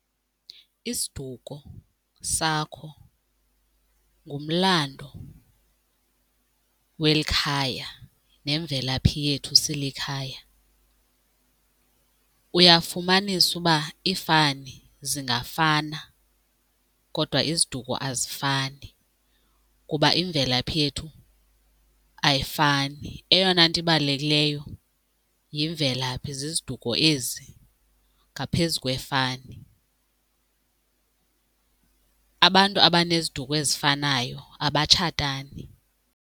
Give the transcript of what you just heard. Isiduko sakho ngumlando weli khaya nemvelaphi yethu silikhaya. Uyafumanisa uba iifani zingafana kodwa iziduko azifani kuba imvelaphi yethu ayifani. Eyona nto ibalulekileyo yimvelaphi, ziziduko ezi ngaphezu kwefani. Abantu abaneziduko ezifanayo abatshatani.